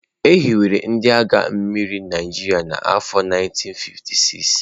E hiwere ndị agha mmiri Naịjirịa n'afọ 1956.